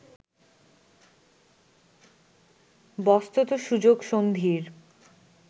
বস্তুত সুযোগ সন্ধির